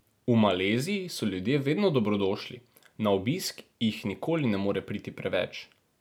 V Maleziji so ljudje vedno dobrodošli, na obisk jih nikoli ne more priti preveč.